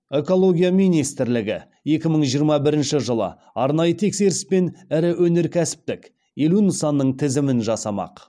экология министрлігі екі мың жиырма бірінші жылы арнайы тексеріспен ірі өнеркәсіптік елу нысанның тізімін жасамақ